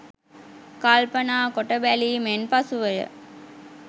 කල්පනා කොට බැලීමෙන් පසුව ය.